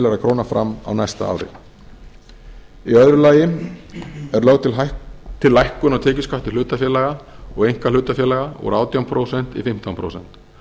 milljarðar króna fram á næsta ári í öðru lagi er lögð til lækkun á tekjuskatti hlutafélaga og einkahlutafélaga úr átján prósent í fimmtán prósent